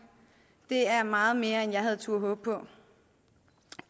det er meget mere end jeg havde turdet håbe på